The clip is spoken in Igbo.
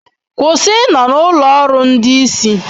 Kwụsị ịnọ na ụlọ ọrụ ndị isi